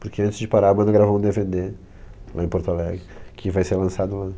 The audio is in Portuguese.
Porque antes de parar a banda gravou um de ve de, lá em Porto Alegre que vai ser lançado lá.